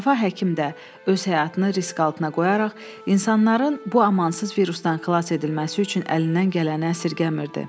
Şəfa həkim də öz həyatını risk altına qoyaraq insanların bu amansız virusdan xilas edilməsi üçün əlindən gələni əsirgəmirdi.